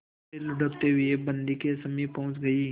फिर लुढ़कते हुए बन्दी के समीप पहुंच गई